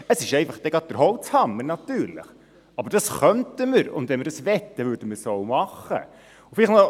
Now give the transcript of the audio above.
Es ist dann jedoch gleich der Holzhammer, aber das könnten wir, und wenn wir dies wollten, würden wir es auch machen.